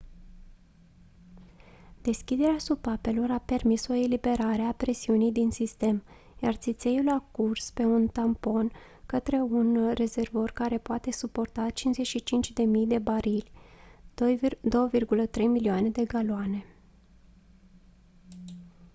deschiderea supapelor a permis o eliberare a presiunii din sistem iar țițeiul a curs pe un tampon către un rezervor care poate suporta 55.000 de barili 2.3 milioane de galoane